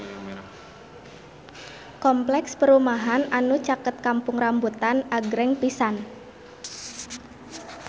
Kompleks perumahan anu caket Kampung Rambutan agreng pisan